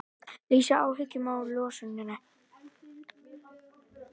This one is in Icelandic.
Lýsa áhyggjum af losuninni